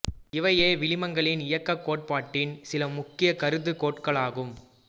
இவையே வளிமங்களின் இயக்க கோட்பாட்டின் சில முக்கிய கருது கோட்களாகும்